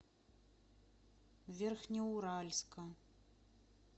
верхнеуральска